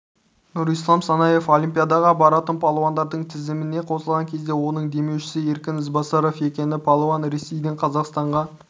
нұрислам санаев олимпиадаға баратын палуандардың тізіміне қосылған кезде оның демеушісі еркін ізбасаров екені палуан ресейден қазақстанға